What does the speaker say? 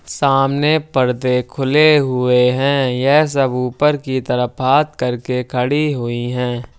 सामने पर्दे खुले हुए है। यह सब ऊपर की तरफ हाथ करके खड़ी हुई हैं।